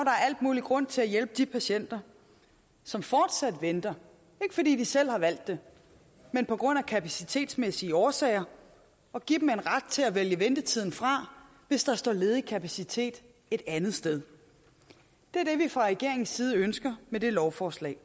al mulig grund til at hjælpe de patienter som fortsat venter ikke fordi de selv har valgt det men på grund af kapacitetsmæssige årsager og give dem en ret til at vælge ventetiden fra hvis der står ledig kapacitet et andet sted det er det vi fra regeringens side ønsker med det lovforslag